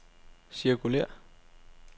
cirkulér